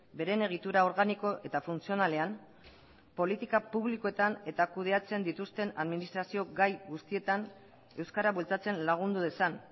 beren egitura organiko eta funtzionalean politika publikoetan eta kudeatzen dituzten administrazio gai guztietan euskara bultzatzen lagundu dezan